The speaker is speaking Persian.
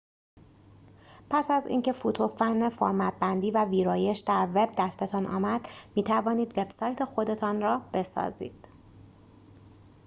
پس از اینکه فوت و فن فرمت‌بندی و ویرایش در وب دستتان آمد می‌توانید وبسایت خودتان را بسازید